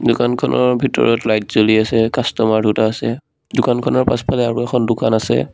দোকানখনৰ ভিতৰত লাইট জ্বলি আছে কাষ্টমাৰ দুটা আছে দোকানখনৰ পাছফালে আৰু এখন দোকান আছে।